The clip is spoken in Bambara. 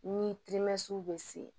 Ni bɛ se